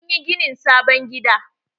Sun yi ginin sabon gida.